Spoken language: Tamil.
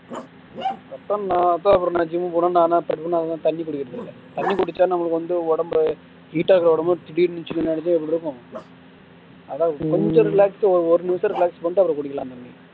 நான் எப்பயாவது ஒரு நாள் gym க்கு போனா நான் அதிகமாக தண்ணீர் குடிக்கிறதில்லை தண்ணீர் குடிச்சா நம்மளுக்கு வந்து உடம்பு heat ஆகுற உடம்பு திடீர்னு chill ஆகிடுச்சுன்னா எப்படி இருக்கும் அதான் கொஞ்சம் relax ஒரு நிமிஷம் relax பண்ணிட்டு அப்பறம் குடிக்கலாம் தண்ணீ